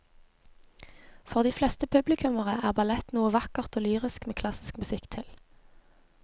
For de fleste publikummere er ballett noe vakkert og lyrisk med klassisk musikk til.